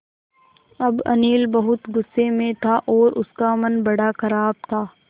अब अनिल बहुत गु़स्से में था और उसका मन बड़ा ख़राब था